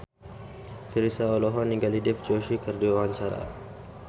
Virzha olohok ningali Dev Joshi keur diwawancara